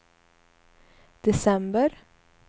december